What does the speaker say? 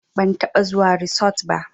Ban taɓa zuwa risot ba